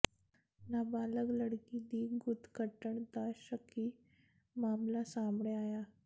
ਨਾਬਾਲਗ ਲੜਕੀ ਦੀ ਗੁੱਤ ਕੱਟਣ ਦਾ ਸ਼ੱਕੀ ਮਾਮਲਾ ਸਾਹਮਣੇ ਆਇਆ